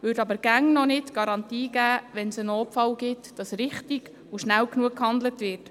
Es wäre aber immer noch keine Garantie dafür, dass in einem Notfall richtig und schnell genug gehandelt würde.